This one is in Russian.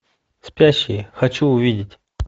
спящие хочу увидеть